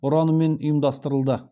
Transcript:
ұранымен ұйымдастырылды